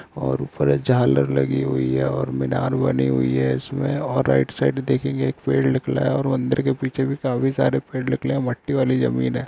और ऊपर एक झालर लगी हुई है और मीनार बनी हुई है। इसमें और राईट साइड देखेंगे एक पेड़ निकला है और मंदिर के पीछे भी काफी सारे पेड़ निकले है। मट्टी वाली जमीन है।